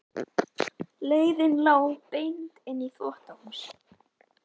Leiðin lá beint inn í þvottahús.